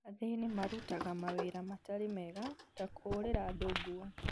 Athĩni marutaga mawĩra matarĩ mega ta kũhũrira andũ nguo